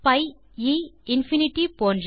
B e infinity போன்ற